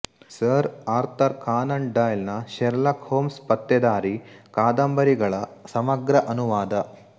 sir Arthur Conan Doyle ನ Sherlock Holmes ಪತ್ತೇದಾರಿ ಕಾದಂಬರಿಗಳ ಸಮಗ್ರ ಅನುವಾದ